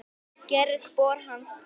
Yðar Richard